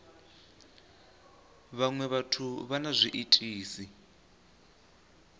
vhaṅwe vhathu vha na zwiitisi